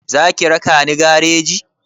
Za ki raka ni gareji?